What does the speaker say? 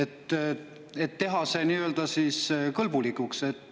Teeme selle siis nii-öelda kõlbulikuks.